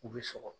U bɛ sɔgɔ